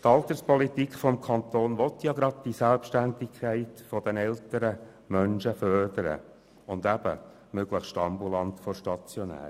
Die Alterspolitik des Kantons will gerade die Selbstständigkeit der älteren Menschen fördern, eben möglichst «ambulant vor stationär».